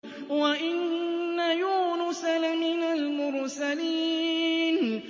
وَإِنَّ يُونُسَ لَمِنَ الْمُرْسَلِينَ